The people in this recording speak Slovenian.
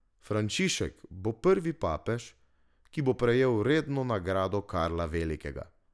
Frančišek bo prvi papež, ki bo prejel redno nagrado Karla Velikega.